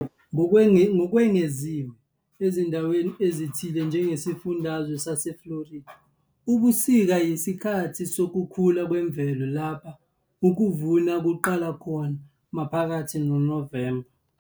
Ngokwengeziwe, ezindaweni ezithile njengesifundazwe saseFlorida, ubusika yisikhathi sokukhula kwemvelo lapho ukuvuna kuqala khona maphakathi noNovemba.